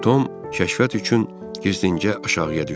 Tom kəşfiyyat üçün gizlincə aşağıya düşdü.